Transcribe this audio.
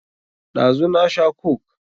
Ɗazu na sha coke.